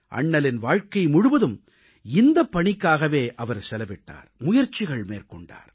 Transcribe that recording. அண்ணலின் வாழ்க்கை முழுவதும் இந்தப் பணிக்காகவே அவர் செலவிட்டார் முயற்சிகள் மேற்கொண்டார்